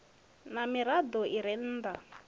ha mirado i re nnda